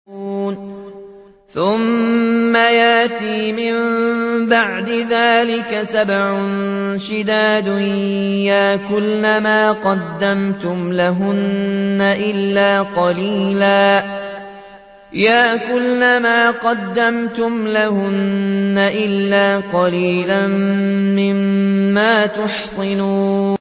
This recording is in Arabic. ثُمَّ يَأْتِي مِن بَعْدِ ذَٰلِكَ سَبْعٌ شِدَادٌ يَأْكُلْنَ مَا قَدَّمْتُمْ لَهُنَّ إِلَّا قَلِيلًا مِّمَّا تُحْصِنُونَ